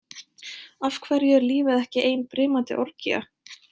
Af hverju er lífið ekki ein brimandi orgía?